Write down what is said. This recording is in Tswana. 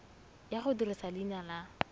ya go dirisa leina la